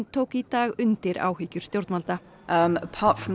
tók í dag undir áhyggjur stjórnvalda